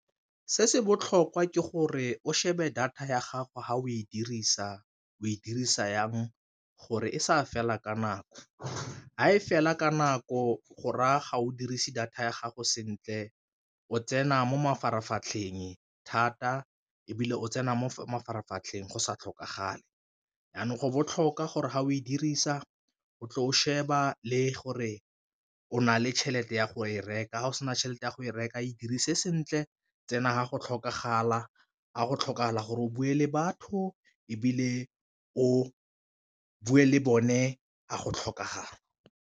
Se se botlhokwa ke gore o shebe data ya gago fa o e dirisa o e dirisa jang gore e sa fela ka nako, fa e fela ka nako go raya ga o dirise data ya gago sentle o tsena mo mafaratlhatlheng thata ebile o tsena mo mafaratlhatlheng go sa tlhokagale, jaanong go botlhokwa gore ga o e dirisa o tle o sheba le gore o na le tšhelete ya go e reka ga o sena tšhelete ya go e reka e dirise sentle tsena ga go tlhokagala gore o bue le batho, ebile o bue le bone ga go tlhokagala.